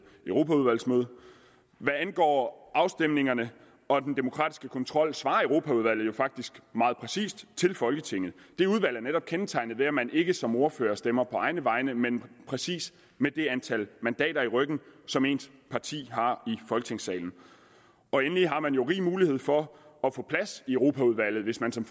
europaudvalgsmøde hvad angår afstemningerne og den demokratiske kontrol svarer europaudvalget jo faktisk meget præcis til folketinget det udvalg er netop kendetegnet ved at man ikke som ordfører stemmer på egne vegne men præcis med det antal mandater i ryggen som ens parti har i folketingssalen endelig har man jo rig mulighed for at få plads i europaudvalget hvis man som